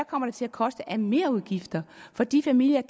kommer til at koste af merudgifter for de familier